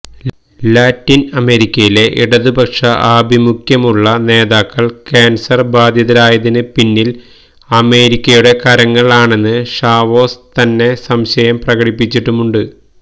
Latin അമേരിക്കയിലെ ഇടതുപക്ഷ ആഭിമുഖ്യമുള്ള നേതാക്കള് ക്യാന്സര് ബാധിതരായതിന് പിന്നില് അമേരിക്കയുടെ കരങ്ങള് ആണെന്ന് ഷാവേസ് തന്നെ സംശയം പ്രകടിപ്പിച്ചിട്ടുമുണ്ട്